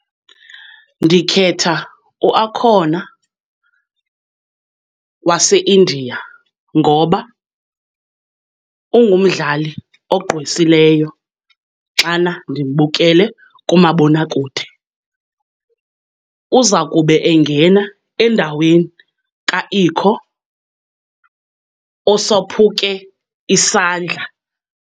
Ndikhetha uAkhona waseIndia ngoba ungumdlali ogqwesileyo xana ndimbukele kumabonakude. Uza kube engena endaweni kaIkho osophuke isandla.